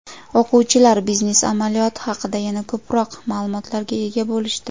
O‘quvchilar biznes amaliyoti haqida yana ko‘proq ma’lumotlarga ega bo‘lishdi.